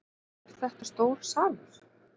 Er þetta stór salur?